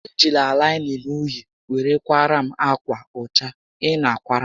E jila laịnịn uhie were kwaara m ákwà ọcha ị na a kwara m